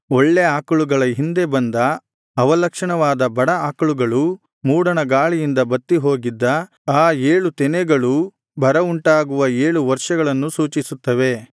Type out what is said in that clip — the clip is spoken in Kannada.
ಒಳ್ಳೆ ಆಕಳುಗಳ ಹಿಂದೆ ಬಂದ ಅವಲಕ್ಷಣವಾದ ಬಡ ಆಕಳುಗಳೂ ಮೂಡಣ ಗಾಳಿಯಿಂದ ಬತ್ತಿ ಹೋಗಿದ್ದ ಆ ಏಳು ತೆನೆಗಳೂ ಬರವುಂಟಾಗುವ ಏಳು ವರ್ಷಗಳನ್ನು ಸೂಚಿಸುತ್ತವೆ